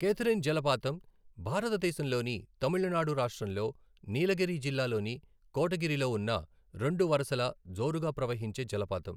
Catherine జలపాతం భారత దేశంలోని తమిళనాడు రాష్ట్రంలో, నీలగిరి జిల్లా లోని కోటగిరిలో ఉన్న రెండు వరసల జోరుగా ప్రహవించే జలపాతం.